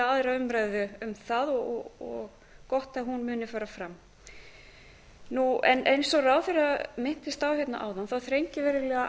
aðra umræðu um það og gott að hún muni fara fram eins og ráðherra minntist á hérna áðan þrengir verulega